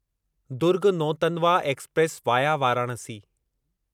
Durg Nautanwa express via Varanasi